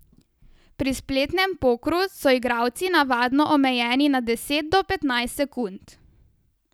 Pri spletnem pokru so igralci navadno omejeni na deset do petnajst sekund.